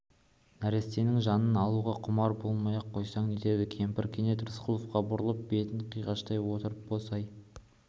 нәрестенің жанын алуға құмар болмай-ақ қойсаң нетеді кемпір кенет рысқұловқа бұрылып бетін қиғаштай отырып босай